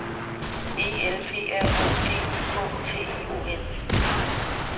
E L P R O D U K T I O N